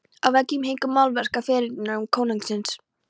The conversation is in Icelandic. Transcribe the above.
Á veggjum héngu málverk af fyrirrennurum konungsins.